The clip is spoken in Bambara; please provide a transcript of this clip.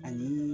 Ani